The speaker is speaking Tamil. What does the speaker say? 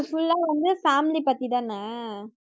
full ஆ வந்து family பத்திதானே